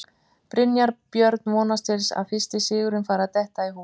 Brynjar Björn vonast til að fyrsti sigurinn fari að detta í hús.